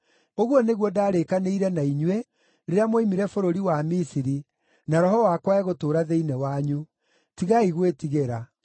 ‘Ũguo nĩguo ndaarĩkanĩire na inyuĩ, rĩrĩa mwoimire bũrũri wa Misiri, na Roho wakwa egũtũũra thĩinĩ wanyu. Tigai gwĩtigĩra.’